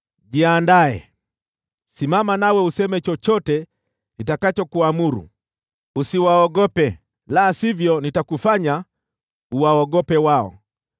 “Jiandae! Simama useme chochote nitakachokuamuru. Usiwaogope, la sivyo nitakufanya uwaogope wao.